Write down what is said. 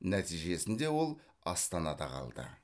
нәтижесінде ол астанада қалды